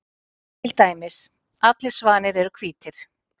Til dæmis: Allir svanir eru hvítir.